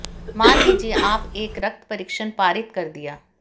मान लीजिए आप एक रक्त परीक्षण पारित कर दिया